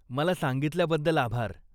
मला सांगितल्याबद्दल आभार.